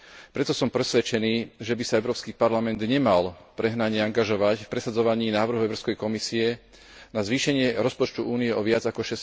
Preto som presvedčený, že by sa Európsky parlament nemal prehnane angažovať v presadzovaní návrhu Európskej komisie na zvýšenie rozpočtu Únie o viac ako